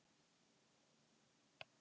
Við eiga engin börn.